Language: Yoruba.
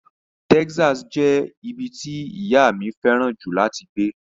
Texas jẹ́ ibi tí ìyá mi fẹ́ràn jù láti gbé.